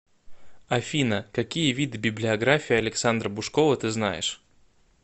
афина какие виды библиография александра бушкова ты знаешь